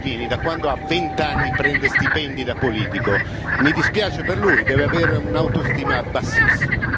Salvini da quando ha 20 anni prende stipendi da politico. Mi dispiace per lui deve avere un'autostima bassissima.